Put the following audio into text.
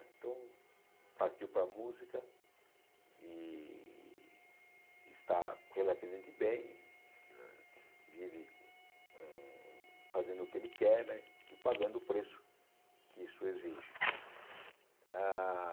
Então, partiu para a música e está relativamente bem, vive fazendo o que ele quer né e pagando o preço que isso exige ah.